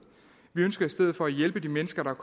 vi ønsker i stedet at hjælpe de mennesker der